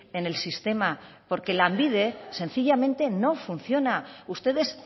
en el sistema porque lanbide sencillamente no funciona ustedes